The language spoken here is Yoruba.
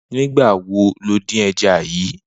Nigbà wó ló din ẹ̀já yi?